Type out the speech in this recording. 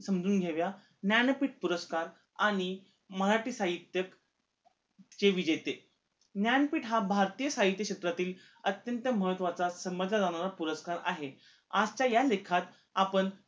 समजून घेऊया ज्ञानपीठ पुरस्कार आणि मराठी साहित्यक हे विजेते ज्ञानपीठ हा भारतीय साहित्य क्षेत्रातील अत्यंत महत्वाचा समजला जाणारा पुरस्कार आहे आत्ता ह्या लेखात आपण